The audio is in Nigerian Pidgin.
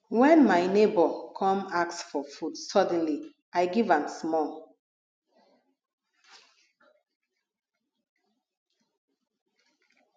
wen my nebor come ask for food suddenly i give am small